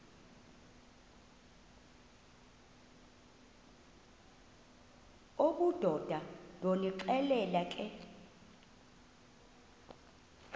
obudoda ndonixelela ke